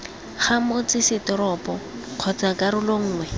ga motsesetoropo kgotsa karolo nngwe